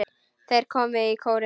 Þeir komu í kórinn.